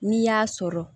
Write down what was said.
N'i y'a sɔrɔ